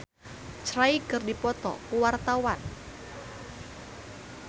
Herjunot Ali jeung Daniel Craig keur dipoto ku wartawan